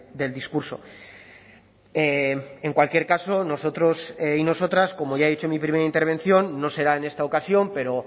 del discurso en cualquier caso nosotros y nosotras como ya he dicho en mi primera intervención no será en esta ocasión pero